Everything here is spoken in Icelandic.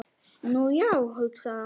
Nú, já, hugsaði hann.